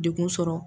Dekun sɔrɔ